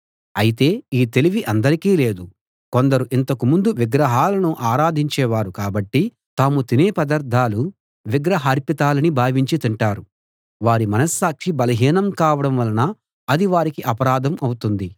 అయితే ఈ తెలివి అందరికీ లేదు కొందరు ఇంతకు ముందు విగ్రహాలను ఆరాధించే వారు కాబట్టి తాము తినే పదార్ధాలు విగ్రహార్పితాలని భావించి తింటారు వారి మనస్సాక్షి బలహీనం కావడం వలన అది వారికి అపరాధం అవుతుంది